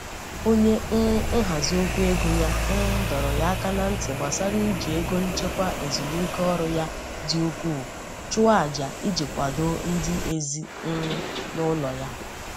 onye um nhazi okwu ego ya um dọrọ ya aka na ntị gbasara iji ego nchekwa ezumike ọrụ ya dị ukwuu chụọ aja iji kwadoo ndị ezi um núlo ya